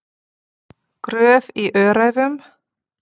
Gröf í Öræfum.